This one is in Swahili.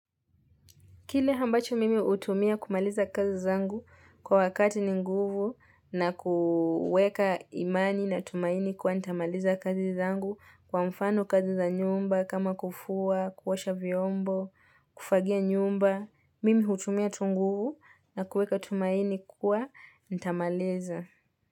Kile ambacho mimi hutumia kumaliza kazi zangu kwa wakati ni nguvu na kuweka imani na tumaini kuwa nitamaliza kazi zangu kwa mfano kazi za nyumba kama kufua, kuosha vyombo, kufagia nyumba. Mimi hutumia tu nguvu na kuweka tumaini kuwa nitamaliza.